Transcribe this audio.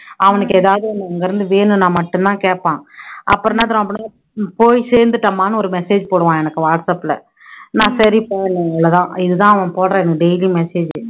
அவனுக்கு எதாவது ஒண்ணு அங்கருந்து வேணும்னா மட்டும் தான் கேப்பான் அப்பறம் என்ன தெரியுமா போய் சேந்துட்டேன்மான்னு ஒரு message போடுவான் எனக்கு whatsapp ல, நான் சரி தான் இது தான் அவன் எனக்கு போடுற message உ